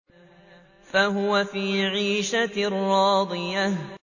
فَهُوَ فِي عِيشَةٍ رَّاضِيَةٍ